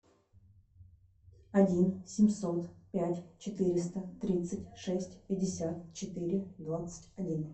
один семьсот пять четыреста тридцать шесть пятьдесят четыре двадцать один